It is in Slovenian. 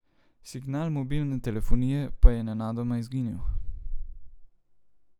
Signal mobilne telefonije pa je nenadoma izginil.